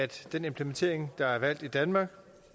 den implementering der er valgt i danmark